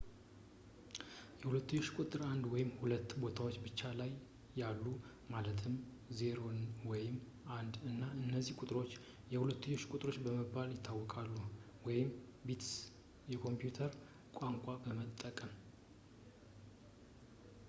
የሁለትዮሽ ቁጥር አንድ ወይም ሁለት ቦታዎች ብቻ ነው ያሉት ማለትም 0 ወይ 1 እናም እነዚህ ቁጥሮች የሁለትዮሽ ቁጥሮች በመባል ይታወቃሉ ወይም ቢትስ የኮምፒውተር ቋንቋን ለመጠቀም